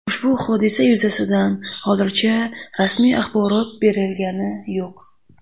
Ushbu hodisa yuzasidan hozircha rasmiy axborot berilgani yo‘q.